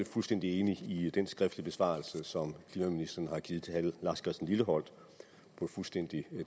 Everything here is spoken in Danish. fuldstændig enig i den skriftlige besvarelse som klimaministeren har givet til herre lars christian lilleholt på et fuldstændig